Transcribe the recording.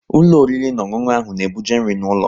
Ụlọ oriri na ọṅụṅụ ahụ na-ebuje nri n'ụlọ